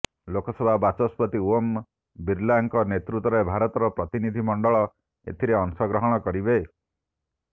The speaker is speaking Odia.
ଲୋକ ସଭା ବାଚସ୍ପତି ଓମ୍ ବିରଲାଙ୍କ ନେତୃତ୍ୱରେ ଭାରତର ପ୍ରତିନିଧି ମଣ୍ଡଳ ଏଥିରେ ଅଂଶ ଗ୍ରହଣ କରିବେ